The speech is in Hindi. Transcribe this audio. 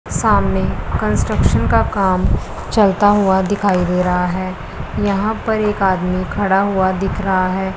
सामने कंस्ट्रक्शन का काम चलता हुआ दिखाई दे रहा है यहां पर एक आदमी खड़ा हुआ दिख रहा है।